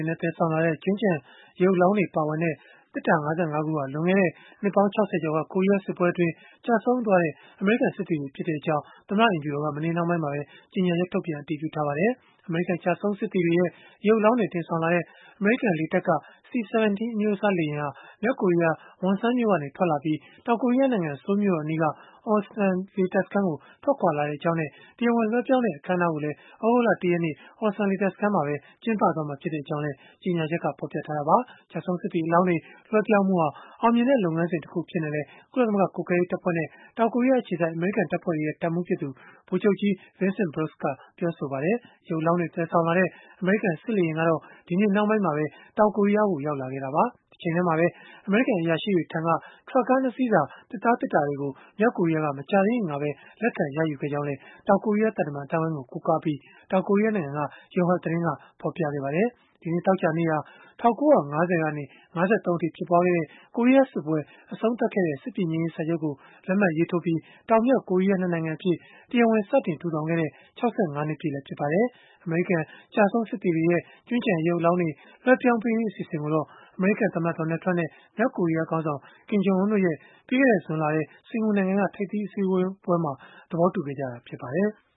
ဉ်နဲ့ သယ်ဆောင်လာတဲ့ ကြွင်း ကျန် ရုပ်အလောင်းတွေပါဝင်တဲ့ သေတ္တာ ၅၅ ခုဟာ လွန်ခဲ့တဲ့ နှစ်ပေါင်း ၆၀ ကျော်က ကိုရီးယား စစ်ပွဲအတွင်း ကျဆုံးခဲ့ကြတဲ့ အမေရိကန်စစ်သည်တွေ ဖြစ်တဲ့အကြောင်း သမ္မတအိမ်ဖြူတော်က မနေ့နှောင်းပိုင်းမှာပဲ ကြေညာချက် ထုတ်ပြန် အတည်ပြုလိုက်ပါတယ်။ အမေရိကန်ကျဆုံးစစ်သည်တွေရဲ့ ရုပ်အလောင်းတွေ တင်ဆောင်လာတဲ့ အမေရိကန်လေတပ်က C-17 အမျိုးအစားလေယာဉ်ဟာ မြောက်ကိုရီးယား၊ Wonsan မြို့ကနေ ထွက်ခွာလာပြီး တောင်ကိုရီးယားနိုင်ငံ ဆိုးလ်မြို့တော်အနီးက Osan လေတပ်စခန်းကို ထွက်ခွာလာခဲ့ကြောင်းနဲ့ တရားဝင်လွဲှပြောင်းတဲ့ အခမ်း အနားကို သြဂုတ်လ ၁ ရက်နေ့ Osan လေတပ်စခန်းမှာပဲ ကျင်းပမှာ ဖြစ်ကြောင်းလည်း ကြေညာချက်က ဖော်ပြခဲ့တာပါ။ ကျဆုံးစစ်သည် အလောင်းတွေ လွဲှပြောင်းမှုဟာ အောင်မြင်တဲ့ လုပ်ငန်းစဉ်တခု အဖြစ်နဲ့လည်း ကုလသမဂ္ဂ ကွပ်ကဲရေးတပ်ဖွဲ့နဲ့ တောင်ကိုရီးယားအခြေစိုက် အမေရိကန် တပ်ဖွဲ့တွေရဲ့တပ်မှူးဖြစ်သူ ဗိုလ်ချုပ်ကြီး Vincent Brooks က ပြော ဆိုခဲ့ပါတယ်။ ရုပ်အလောင်းတွေ သယ်ဆောင်လာတဲ့ အမေရိကန် စစ်လေယာဉ် ကတော့ ဒီနေ့ နှောင်းပိုင်းမှာပဲ တောင်ကိုရီးယားကို ရောက်လာခဲ့တာပါ။ တချိန်တည်းမှာပဲ အမေရိကန်အရာရှိတွေထံက ထရပ်ကား ၂ စီးစာ သစ်သား သေတ္တာတွေကို မြောက် ကိုရီးယားက မကြာသေးခင်ကပဲ လက်ခံရယူခဲ့ကြောင်း လည်း တောင်ကိုရီးယားသံတမန် အသိုင်းအဝိုင်းကို ကိုးကားပြီး တောင်ကိုရီး ယားနိုင်ငံက Yonhap သတင်းဌာနက ဖော်ပြခဲ့ပါတယ်။ ဒီနေ့ သောကြာနေ့ဟာ ၁၉၅၀ ကနေ ၅၃ အထိ ဖြစ်ခဲ့တဲ့ ကိုရီးယားစစ်ပွဲ အဆုံးသတ်ခဲ့တဲ့ စစ်ပြေငြိမ်းရေး စာချုပ်ကို လက်မှတ်ရေးထိုးပြီး တောင်၊ မြောက် ကိုရီးယား ၂ နိုင်ငံအဖြစ် တရားဝင် စတင် ထူထောင်ခဲ့ကြတဲ့ ၆၅ နှစ် ပြည့်လည်း ဖြစ်ပါတယ်။ အမေရိကန် ကျဆုံးစစ်သည်တွေရဲ့ ကြွင်းကျန်ရုပ်အလောင်းတွေ လွဲှပြောင်းပေးရေး အစီအစဉ်ကိုတော့ အမေရိကန်သမ္မတ Donald Trump နဲ့ မြောက်ကိုရီးယားခေါင်းဆောင် Kim Jong Un တို့ရဲ့ ပြီးခဲ့တဲ့ ဇွန်လထဲ စင်္ကာပူနိုင်ငံက ထိပ်သီး အစည်းအဝေးမှာ သဘောတူခဲ့ကြတာလည်း ဖြစ်ပါတယ်။